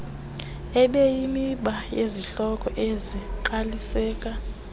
ibeyimiba yezihloko ezingqaliseka